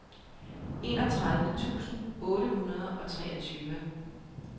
enogtredive tusind otte hundrede og treogtyve